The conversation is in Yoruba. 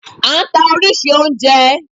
A nta oríṣìíríṣìí oúnjẹ